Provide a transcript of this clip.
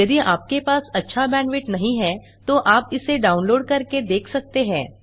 यदि आपके पास अच्छा बैंडविड्थ नहीं है तो आप इसे डाउनलोड करके देख सकते हैं